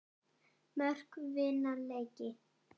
Mörk vinna leiki.